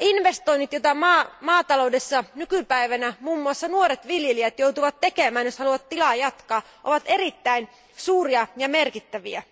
Investoinnit, joita nykypäivänä maataloudessa muiden muassa nuoret viljelijät joutuvat tekemään, jos haluavat tilanpitoa jatkaa, ovat erittäin suuria ja merkittäviä.